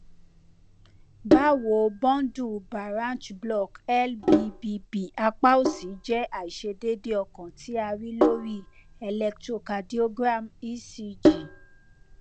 bawo bundle baranch block lbbb apa osi jẹ aiṣedeede ọkan ti a rii lori electrocardiogram ecg